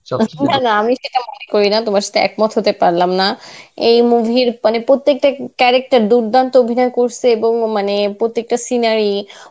আমি সেটা মনে করিনা তোমার সাথে এক মত হতে পারলাম না. এই movie র মানে প্রত্যেকটা character দুর্দান্ত্য অভিনয় করসে এবং মানে প্রত্যেকটা seanery